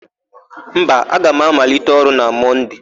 Mba, aga m amalite ọrụ na Mọnde.